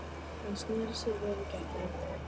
Hann sneri sér við í gættinni.